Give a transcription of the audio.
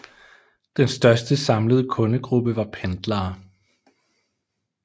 Den største samlede kundegruppe var pendlere